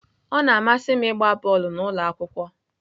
Ọ na-amasị m ịgba bọọlụ n'ụlọ akwụkwọ.